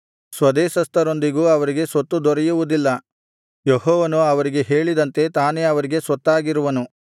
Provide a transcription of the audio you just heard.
ಸ್ವದೇಶಸ್ಥರೊಂದಿಗೂ ಅವರಿಗೆ ಸ್ವತ್ತು ದೊರೆಯುವುದಿಲ್ಲ ಯೆಹೋವನು ಅವರಿಗೆ ಹೇಳಿದಂತೆ ತಾನೇ ಅವರಿಗೆ ಸ್ವತ್ತಾಗಿರುವನು